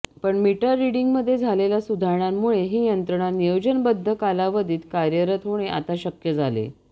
पण मीटर रिडिंगमध्ये झालेल्या सुधारणांमुळे ही यंत्रणा नियोजनबद्ध कालावधीत कार्यरत होणे आता शक्य झाले